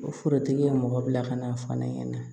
Forotigi ye mɔgɔ bila ka na fɔ ne ɲɛna